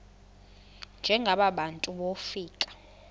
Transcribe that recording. njengaba bantu wofika